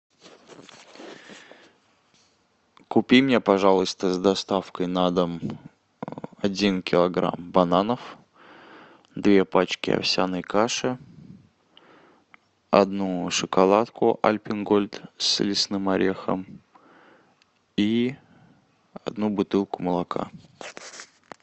купи мне пожалуйста с доставкой на дом один килограмм бананов две пачки овсяной каши одну шоколадку альпен гольд с лесным орехом и одну бутылку молока